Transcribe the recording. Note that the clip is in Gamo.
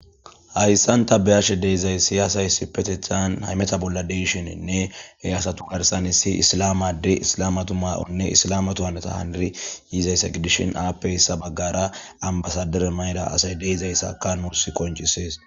hayssan ta beyashe deezays siyaasay issipetethan haymeta bolla deishininne heyasatu garsan issi islamade islamatu maa7onne islama tu hanata haniri yiizayssa gidishin aappeyssa baggara ambasadere mayda asay deezayssaka nussi konchisees